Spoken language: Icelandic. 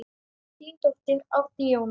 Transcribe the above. Þín dóttir, Árný Jóna.